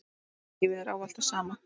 Lífið er ávallt það sama.